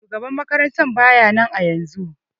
Shugaban makarantan baya nan ayaunzun.